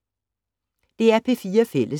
DR P4 Fælles